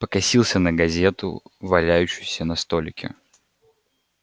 покосился на газету валяющуюся на столике